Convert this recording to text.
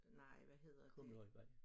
Nej hvad hedder det